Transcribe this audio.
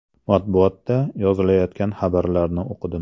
Matbuotda yozilayotgan xabarlarni o‘qidim.